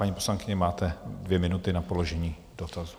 Paní poslankyně, máte dvě minuty na položení dotazu.